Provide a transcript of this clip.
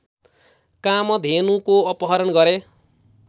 कामधेनुको अपहरण गरे